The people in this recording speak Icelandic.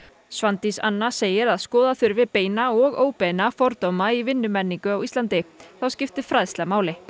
Svandís Anna segir að skoða þurfi beina og óbeina fordóma í vinnumenningu á Íslandi þá skipti fræðsla máli og